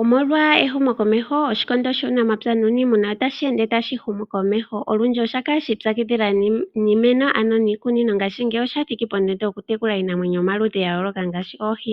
Omolwa ehumokomeho, Oshikondo shUunamapya nUuniimuna otashi ende tashi humu komeho. Olundji osha kala shi ipyakidhila niimeno, ano niikunino ngaashingeyi osha thiki pondondo yokutekula iinamwenyo yomaludhi ga yooloka ngaashi oohi.